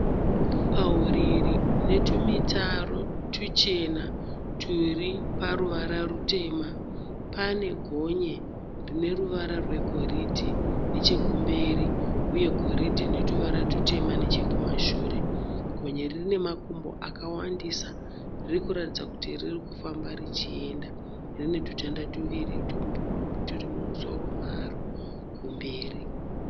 Pahuriri hunetumitaro tuchena turi paruvara rutema, panegonye rineruvara rwegoridhe nechekumberi uye goridhe netuvara tutema nechekumashure. Gonye iri rinemakumbo akawandisa. Ririkuratidza kuti ririkufamba richienda. Rinetutanda tuviri turi mumusoro maro kumberi.